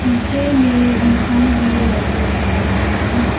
पीछे में इंसान भी नजर आ रहा है।